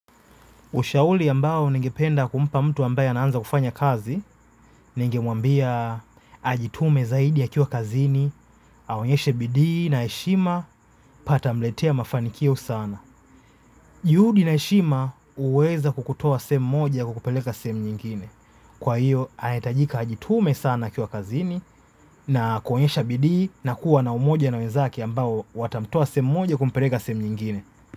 Ushauri ambayo ningependa kumpa mtu ambaye ana anza kufanya kazi ningemwambia ajitume zaidi akiwa kazini aonyeshe bidii na heshima yatamletea mafanikio sana. Juhudi na heshima huweza kukutoa sehemu moja kukupeleka sehemu nyingine. Kwa hiyo, ahitajika ajitume sana akiwa kazini na kuonyesha bidii na kuwa na umoja na wenzake ambao watamtoa sehemu moja kumpeleka sehemu nyingine.